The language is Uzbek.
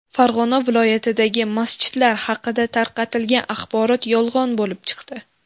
Farg‘ona viloyatidagi masjidlar haqida tarqatilgan axborot yolg‘on bo‘lib chiqdi.